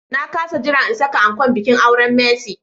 Na kas jira in saka ankon bikin auren Mercy.